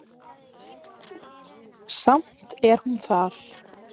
Samt er hún þar.